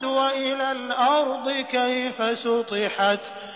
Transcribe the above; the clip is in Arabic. وَإِلَى الْأَرْضِ كَيْفَ سُطِحَتْ